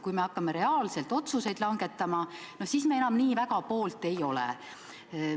Kui me hakkame reaalselt otsuseid langetama, siis me enam nii väga poolt ei ole.